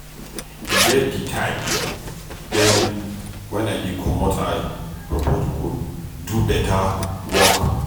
E get di time dem wen I dey comot eye for protocol do beta work.